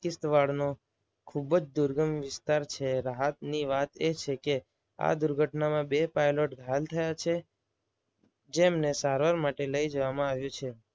East વાળનો ખૂબ જ દુર્ગમ વિસ્તાર છે. રાહતની વાત એ છે કે, આ દુર્ઘટનામાં બે પાયલોટ ઘાયલ થયા છે. જેમને સારવાર માટે લઈ જવામાં આવ્યા છે.